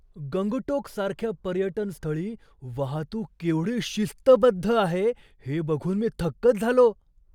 गंगटोकसारख्या पर्यटन स्थळी वाहतूक केवढी शिस्तबद्ध आहे हे बघून मी थक्कच झालो.